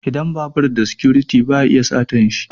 Idan babur da sikuriti ba a iya satanshi